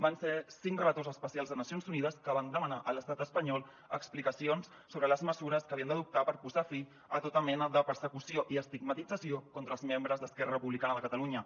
van ser cinc relators especials de nacions unides que van demanar a l’estat espanyol explicacions sobre les mesures que havien d’adoptar per posar fi a tota mena de persecució i estigmatització contra els membres d’esquerra republicana de catalunya